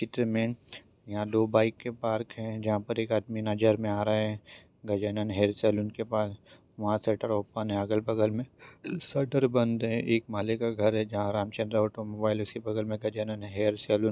चित्र में यहाँ दो बाइक पार्क हैं जहाँ पर एक आदमी नजर में आ रहा हैं गजानन हेयर सैलून के पास वहा शटर ओपन हैं अगल बगल में शटर बंद हैं एक माले का घर हैं जहा रामचंद्र ऑटोमोबाइल उसी बगल में गजानन हेयर सैलून --